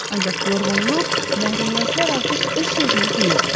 Ancaq yorğunluq, məhrumiyyətlər artıq öz sözünü deyirdi.